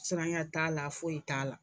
Siranɲɛ t'a la foyi t'a la